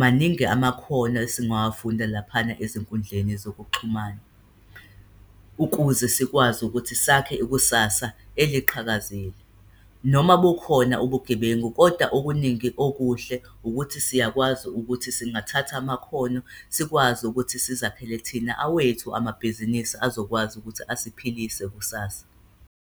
Maningi amakhono esingasawafunda laphana ezinkundleni zokuxhumana, ukuze sikwazi ukuthi sakhe ikusasa eliqhakazile. Noma bukhona ubugebengu, kodwa okuningi okuhle ukuthi siyakwazi ukuthi singathatha amakhono sikwazi ukuthi sizakhele thina awethu amabhizinisi azokwazi ukuthi esiphilise kusasa.